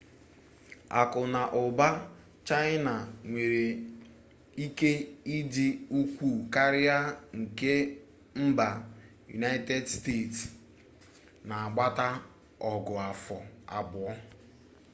aku na uba mba china nwere ike idi ukwu karia nke mba united state na agbata ogu-afo abuo